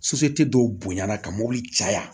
dɔw bonya na ka mobili caya